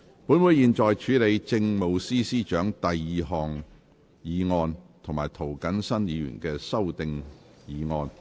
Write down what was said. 本會現在處理政務司司長的第二項議案及涂謹申議員的修訂議案。